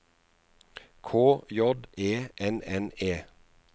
K J E N N E